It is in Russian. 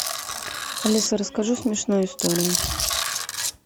алиса расскажи смешную историю